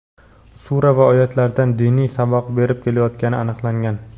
sura va oyatlaridan diniy saboq berib kelayotgani aniqlangan.